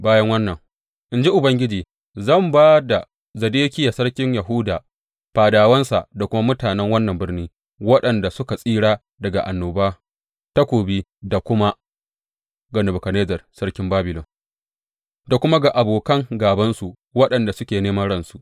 Bayan wannan, in ji Ubangiji, zan ba da Zedekiya sarkin Yahuda, fadawansa da kuma mutanen wannan birni waɗanda suka tsira daga annoba, takobi da kuma yunwa, ga Nebukadnezzar sarkin Babilon da kuma ga abokan gābansu waɗanda suke neman ransu.